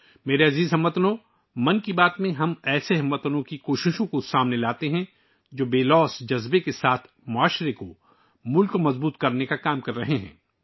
میرے پیارے ہم وطنو، 'من کی بات' میں ہم ان ہم وطنوں کی کوششوں کو اجاگر کرتے ہیں جو سماج اور ملک کو مضبوط بنانے کے لیے بے لوث کام کر رہے ہیں